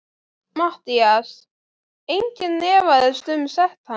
MATTHÍAS: Enginn efaðist um sekt hans.